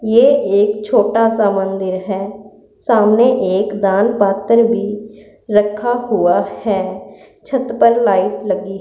ये एक छोटा सा मंदिर है सामने एक दान पात्र भी रखा हुआ है छत पर लाइट लगी--